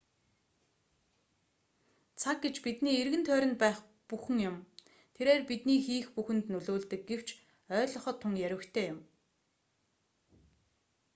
цаг гэж бидний эргэн тойронд байх бүхэн юм тэрээр бидний хийх бүхэнд нөлөөлдөг гэвч ойглгоход тун ярьвигтай юм